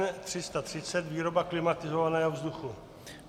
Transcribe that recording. N330 - výroba klimatizovaného vzduchu.